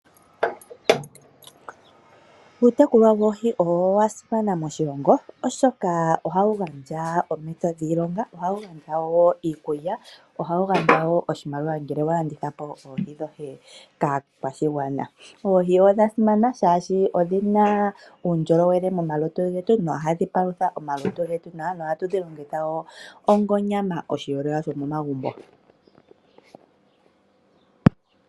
Okutekula oohi okwasimana moshilongo oshoka ohashi gandja oompito dhiilonga ohashi gandja woo iikulya, ohashi gandja woo oshimaliwa ngele walanditha po oohi kaakwashigwana. Oohi odha simana shaashi odhina uundjolowele momalutu getu no hadhi palutha woo omalutu getu , nohatu dhi longitga woo onga onyams momagumbo getu.